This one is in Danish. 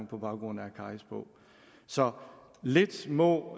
på baggrund af akkaris bog så lidt må